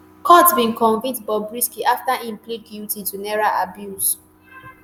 court bin convict bobrisky afta im plead guilty to naira abuse.